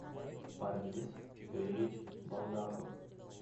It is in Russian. парвиз юрьевич балдахов